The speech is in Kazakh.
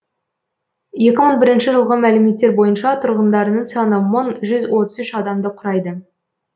екі мың бірінші жылғы мәліметтер бойынша тұрғындарының саны мың жүз отыз үш адамды құрайды